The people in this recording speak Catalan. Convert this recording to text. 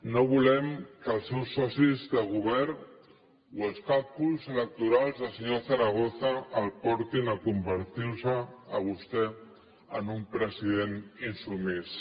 no volem que els seus socis de govern o els càlculs electorals del senyor zaragoza el portin a convertirse a vostè en un president insubmís